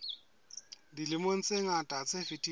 dilemong tse ngata tse fetileng